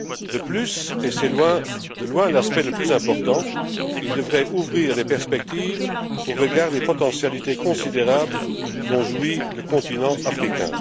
De plus, et c'est de loin l'aspect le plus important, il devrait ouvrir les perspectives au regard des potentialités considérables dont jouit le continent africain.